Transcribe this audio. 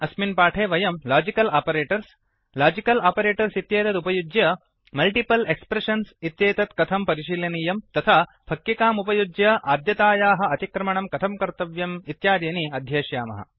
अस्मिन् पाठे वयम् लाजिकल् आपरेटर्स् लाजिकल् आपरेटर्स् इत्येतत् उपयुज्य मल्टिपल् एक्प्रेषन्स् इत्येतत् कथं परिशीलनीयं तथा फक्किक्काम् उपयुज्य आद्यतायाः अतिक्रमणं कथं कर्तव्यम् इत्यादीनि अध्येष्यामः